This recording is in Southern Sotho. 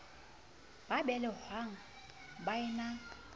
ba belehwang ba e na